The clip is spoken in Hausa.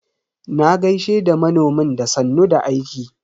Na gaishe da manomin da sannun da aiki.